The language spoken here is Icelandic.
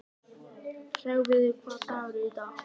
Hreggviður, hvaða dagur er í dag?